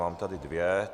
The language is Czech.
Mám tady dvě.